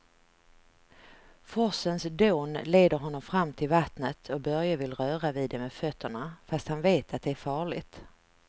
Forsens dån leder honom fram till vattnet och Börje vill röra vid det med fötterna, fast han vet att det är farligt.